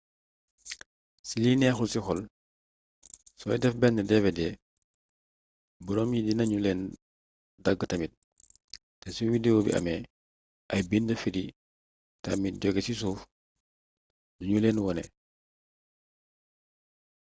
ci lu neexul ci xol sooy def benn dvd booram yi dinanu leen dàggtamit te su widewo bi amee ay bind firi tamitjóge ci suuf duñuleeen wone